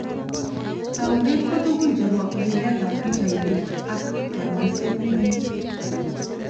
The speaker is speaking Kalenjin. Taunet ko tukun chebo lilet ab pichainik ak kanyoishet nekim.